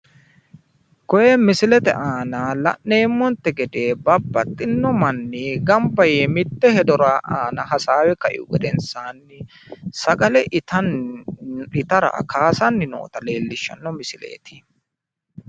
koye misilete aana la'neemmonte gede babaxinno manni ganba yee mitte hedora hasaawe kaihu gedensaanni sagale itara kaasanni noota leellishshanno misileeti.